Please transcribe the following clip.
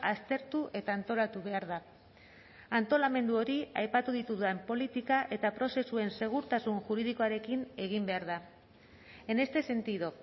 aztertu eta antolatu behar da antolamendu hori aipatu ditudan politika eta prozesuen segurtasun juridikoarekin egin behar da en este sentido